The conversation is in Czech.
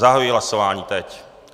Zahajuji hlasování, teď.